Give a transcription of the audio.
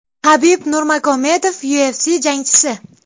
Habib Nurmagomedov, UFC jangchisi !